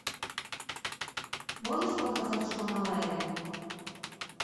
можешь показать шона леви